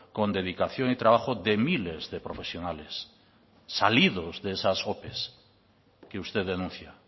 con dedicación y trabajo de miles de profesionales salidos de esas ope que usted denuncia